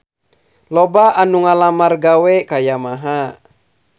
Loba anu ngalamar gawe ka Yamaha